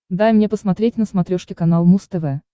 дай мне посмотреть на смотрешке канал муз тв